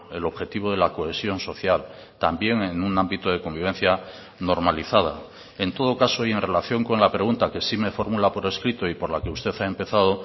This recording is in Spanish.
el objetivo de la cohesión social también en un ámbito de convivencia normalizada en todo caso y en relación con la pregunta que sí me formula por escrito y por la que usted ha empezado